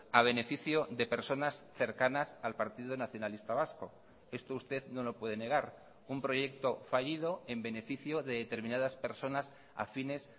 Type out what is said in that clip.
a beneficio de personas cercanas al partido nacionalista vasco esto usted no lo puede negar un proyecto fallido en beneficio de determinadas personas afines